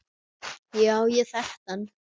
Já, ég þekkti hann.